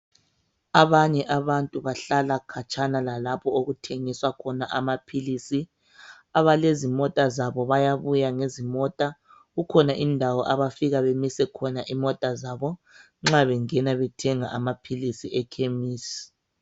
Abanye abantu bahlala khatshana lalapho okuthengiswa khona amaphilisi abalezi mota zabo bayabuya ngezimota kukhona indawo abafika bemise khona imota zabo nxa bengena bethenga amaphilisi ekhemisi